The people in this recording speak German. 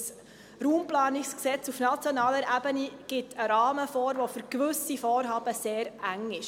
Auf nationaler Ebene gibt das Bundesgesetz über die Raumplanung (Raumplanungsgesetz, RPG) einen Rahmen vor, der für gewisse Vorhaben sehr eng ist.